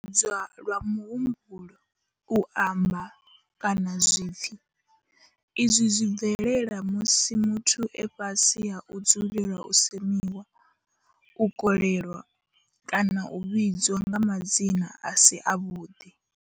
U tambudzwa lwa muhumbulo, u amba, kana zwipfi izwi zwi bvelela musi muthu e fhasi ha u dzulela u semiwa, u kolelwa kana u vhidzwa nga madzina a si avhuḓi.